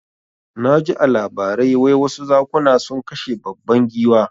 Naji a labarai wai wasu zakuna sun kashe babban giwa